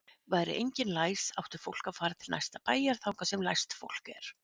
Væri enginn læs átti fólk að fara til næsta bæjar þangað sem læst fólk er.